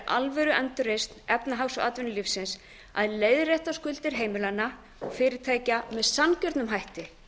alvöru endurreisn efnahags og atvinnulífsins að leiðrétta skuldir heimilanna og fyrirtækja með sanngjörnum hætti